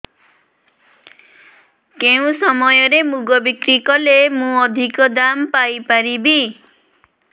କେଉଁ ସମୟରେ ମୁଗ ବିକ୍ରି କଲେ ମୁଁ ଅଧିକ ଦାମ୍ ପାଇ ପାରିବି